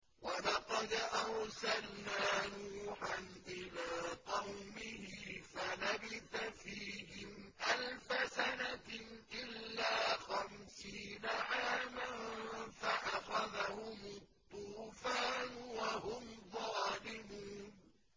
وَلَقَدْ أَرْسَلْنَا نُوحًا إِلَىٰ قَوْمِهِ فَلَبِثَ فِيهِمْ أَلْفَ سَنَةٍ إِلَّا خَمْسِينَ عَامًا فَأَخَذَهُمُ الطُّوفَانُ وَهُمْ ظَالِمُونَ